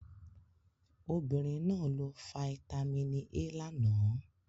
Obìnrin náà lo fáítámínì A lánàá